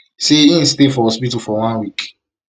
say im stay for hospital for one week